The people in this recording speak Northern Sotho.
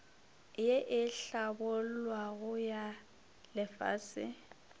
ye e hlabollwago ya lefase